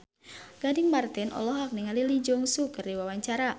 Gading Marten olohok ningali Lee Jeong Suk keur diwawancara